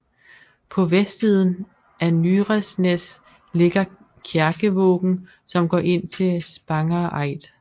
På vestsiden af Nyresnes ligger Kjerkevågen som går ind til Spangereid